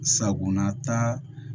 Sagonata